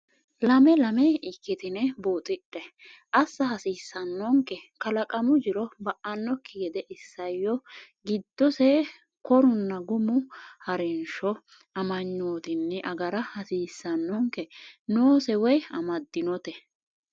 lame lame ikkitine buuxidhe? assa hasiissannonke? Kalaqamu jiro ba’annokki gede isayyo giddosse korunna gumu ha’rinshsho amanyootunni agara hasiissannonke? noose woy, amadinote?